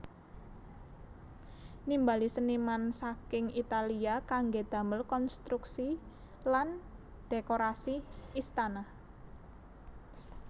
Nimbali seniman saking Italia kanggé damel konstruksi lan dhékorasi istana